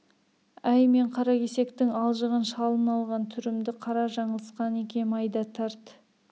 әй мен қаракесектің алжыған шалын алған түрімді қара жаңылысқан екем айда тарт